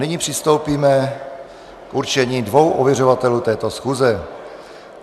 Nyní přistoupíme k určení dvou ověřovatelů této schůze.